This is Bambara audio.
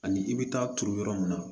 Ani i bɛ taa turu yɔrɔ min na